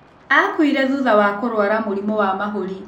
Akuire thutha wa kũrwara mũrimũ wa mahũri